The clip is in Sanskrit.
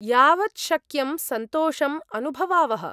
यावत् शक्यं सन्तोषम् अनुभवावः।